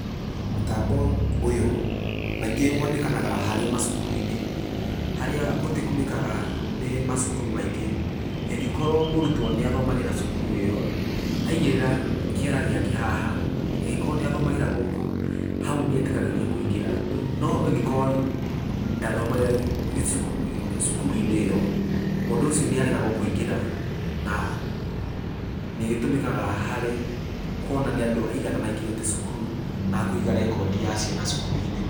Mũtambo ũyũ kaingĩ wonekanaga harĩ macukuru-inĩ, harĩa ũtũmĩkaga nĩ macukuru maingĩ, ĩngĩkorwo mũrutwo nĩ athomagĩra cukuru ĩyo, aigĩrĩra kĩara gĩake haha, angĩkorwo nĩ athomagĩra gũkũ, hau nĩ etĩkagĩrio kũingĩra, no ĩngĩkorwo ndathomagĩra gĩcu, cukuru-inĩ ĩyo, mũndũ ũcio nĩ aregagwo kũingĩra, na nĩĩtũmĩkaga harĩ kuona nĩ andũ aigana maingĩrĩte cukuru, na kũiga record ya ciana cukuru. -inĩ.